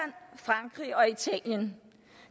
frankrig og italien